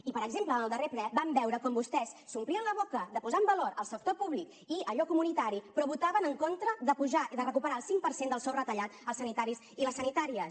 i per exemple en el darrer ple vam veure com vostès s’omplien la boca de posar en valor el sector públic i allò comunitari però votaven en contra de recuperar el cinc per cent del sou retallat als sanitaris i les sanitàries